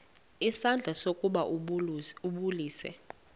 isandla ukuba ambulise